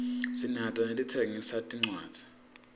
sinato naletitsengisa tincwadzi